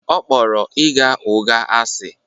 Ọ kpọrọ ịgha ụgha asị